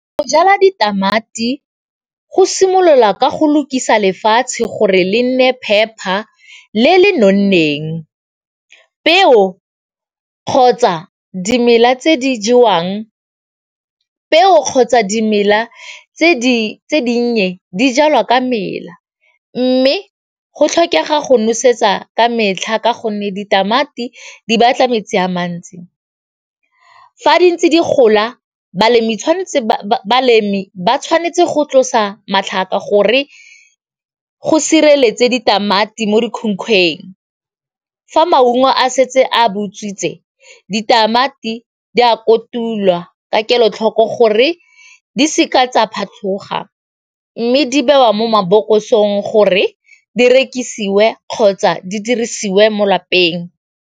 Go jala ditamati go simolola ka go lukisa lefatshe gore le nne phepa le le nonneng peo kgotsa dimela tse di jewang peo kgotsa dimela tse di tse dinnye di jalwa ka mela mme go tlhokega go nosetsa ka metlha ka gonne ditamati di batla metsi a mantsi, fa di ntse di gola balemi ba tshwanetse go tlosa matlhaka gore go sireletse ditamati mo dikhunkhweng, fa maungo a setse a bo utswitse ditamati di a kotulwa ka kelotlhoko gore di seka tsa phatlhoga mme di bewa mo mabokosong gore di rekisiwe kgotsa di dirisiwe mo lapeng.